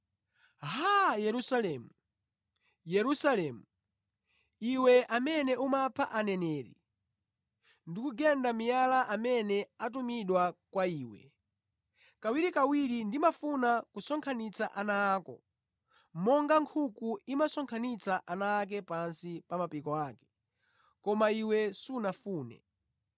“Haa! Yerusalemu, Yerusalemu, iwe amene umapha aneneri ndi kugenda miyala amene atumidwa kwa iwe, kawirikawiri ndimafuna kusonkhanitsa ana ako, monga nkhuku imasonkhanitsira ana ake pansi pa mapiko ake, koma iwe sunafune.